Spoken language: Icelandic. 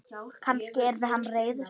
Kannski yrði hann reiður?